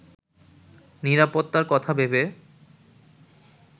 নিরাপত্তার কথা ভেবে